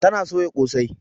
Ta na soya kosai.